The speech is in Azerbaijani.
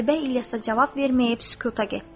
Qətibə İlyasa cavab verməyib sükuta getdi.